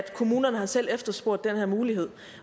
at kommunerne selv har efterspurgt den her mulighed